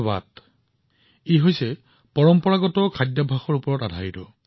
এই ষ্টাৰ্টআপটো আমাৰ পৰম্পৰা অনুসৰি স্বাস্থ্যকৰ খাদ্যাভ্যাসৰ ওপৰত আধাৰিত